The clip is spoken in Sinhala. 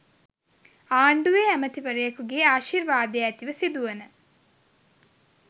ආණ්ඩුවේ ඇමතිවරයෙකු ගේ ආශිර්වාදය ඇතිව සිදුවන